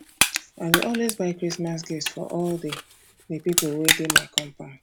i dey always buy christmas gift for all di di pipo wey dey my compound